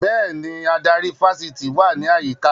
Bẹ́ẹ̀ni, adarí ifásitì wà ní àyíká